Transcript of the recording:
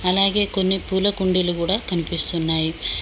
అలాగే కొన్ని పూల కుండీలు కూడా కనిపిస్తున్నాయి.